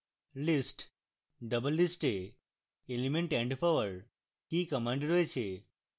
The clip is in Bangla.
list doublelist এ element and পাওয়ার কি command রয়েছে